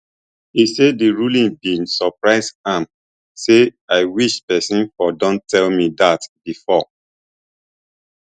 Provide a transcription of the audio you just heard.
e say di ruling bin surprise am say i wish pesin for don tell me dat bifor